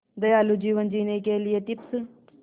दयालु जीवन जीने के लिए टिप्स